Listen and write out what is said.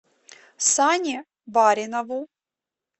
сане баринову